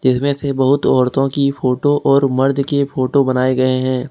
जिसमें से बहुत औरतों की फोटो और मर्द के फोटो बनाए गए हैं।